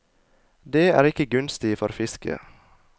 Det er ikke gunstig for fisket.